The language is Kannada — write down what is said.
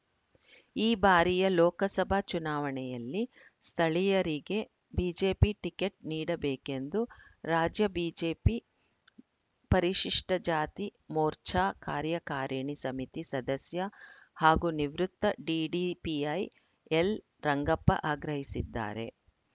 ಈ ಬಾರಿಯ ಲೋಕಸಭಾ ಚುನಾವಣೆಯಲ್ಲಿ ಸ್ಥಳೀಯರಿಗೆ ಬಿಜೆಪಿ ಟಿಕೆಟ್‌ ನೀಡಬೇಕೆಂದು ರಾಜ್ಯ ಬಿಜೆಪಿ ಪರಿಶಿಷ್ಟಜಾತಿ ಮೋರ್ಚಾ ಕಾರ್ಯಕಾರಣಿ ಸಮಿತಿ ಸದಸ್ಯ ಹಾಗೂ ನಿವೃತ್ತ ಡಿಡಿಪಿಐ ಎಲ್‌ರಂಗಪ್ಪ ಆಗ್ರಹಿಸಿದ್ದಾರೆ